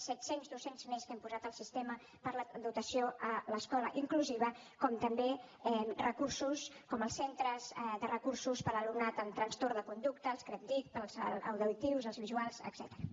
set cents docents més que hem posat al sistema per la dotació a l’escola inclusiva com també recursos com els centres de recursos per a l’alumnat amb trastorn de conducta els credtic per als auditius els visuals etcètera